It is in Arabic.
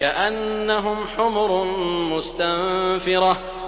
كَأَنَّهُمْ حُمُرٌ مُّسْتَنفِرَةٌ